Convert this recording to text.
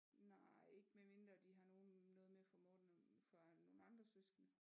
Nej ikke med mindre de har nogle noget med fra Morten og fra nogle andre søskende